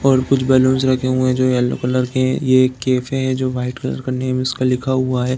और कुछ बलून रखे हुए हैं जो येलो कलर के हैं। ये एक कैफ़े हैं जो वाइट का नेम इसका लिखा हुआ है।